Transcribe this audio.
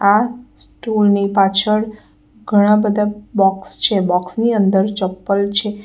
આ સ્ટુલ ની પાછળ ઘણા બધા બોક્સ છે બોક્સ ની અંદર ચપ્પલ છે.